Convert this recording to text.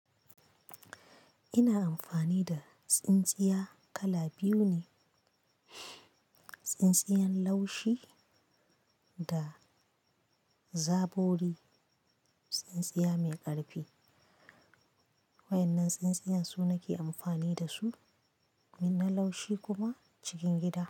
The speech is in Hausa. Ina amfani da tsintsiya kala biyu ne, tsintsiyan laushi da zabori, tsintsiya mai ƙarfi. Wa'yannan tsintsiyan su nake amfani dasu, gun na laushi kuma cikin gida.